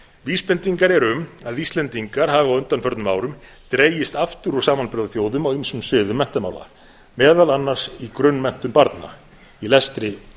vísbendingar eru um að íslendingar hafi á undanförnum árum dregist aftur samanburðarþjóðum á ýmsum sviðum menntamála meðal annars í grunnmenntun barna í lestri og